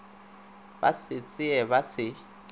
ba se tsee ba se